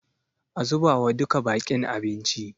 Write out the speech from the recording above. A zubawa duka baƙin abinci.